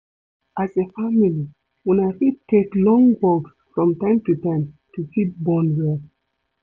As a family, una fit take long walks from time to time to fit bond well